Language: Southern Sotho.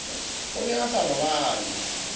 o ne a sa robale